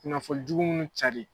Kunnafonijugu munnu cari.